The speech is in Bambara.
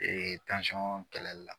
kɛlɛli la